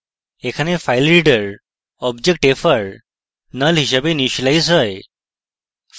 এখানে filereader object fr null হিসাবে initialise হয়